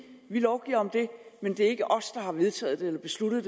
vi lovgiver om det men det er ikke os der har vedtaget eller besluttet